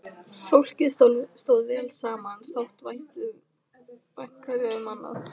Fólkið stóð vel saman, þótti vænt hverju um annað.